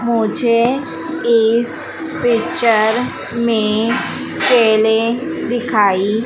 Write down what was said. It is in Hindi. मुझे इस पिक्चर में केले दिखाई--